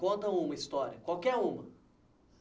Conta uma história, qualquer uma.